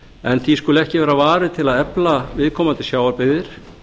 en því skuli ekki vera varið til að efla viðkomandi sjávarbyggðir